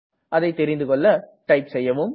அதை தெரிந்துகெள்ள இதை டைப் செய்யவும்